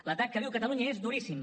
l’atac que viu catalunya és duríssim